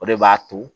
O de b'a to